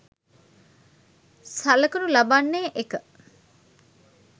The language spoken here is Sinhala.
සළකනු ලබන්නේ, 1.